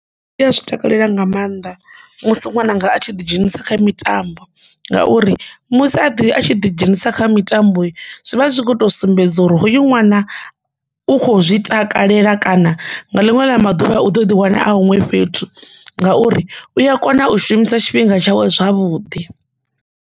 Ndi a zwi takalela nga maanḓa musi ṅwananga a tshi ḓi dzhenisa kha mitambo ngauri musi a ḓi a tshi ḓi dzhenisa kha mitambo zwivha zwi khoto sumbedza uri hoyu ṅwana na u kho zwi takalela kana nga linwe ḽa maḓuvha a u ḓo ḓi wana a huṅwe fhethu ngauri u a kona u shumisa tshifhinga tshawe zwavhuḓi.